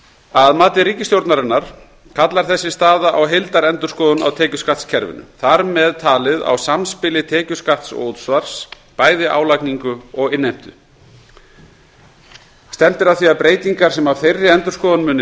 að mati ríkisstjórnarinnar kallar þessi staða á heildarendurskoðun á tekjuskattskerfinu þar með talið á samspili tekjuskatts og útsvars bæði álagningu og innheimtu stefnt er að því að breytingar sem af þeirri endurskoðun munu